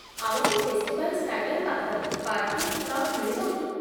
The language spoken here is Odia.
ଆମକୁ ଫେଷ୍ଟିଭାଲ୍ ଷ୍ଟାଡିୟମ୍ ପାଖରେ ପାର୍କିଂ ସ୍ଲଟ୍ ମିଳିବ କି?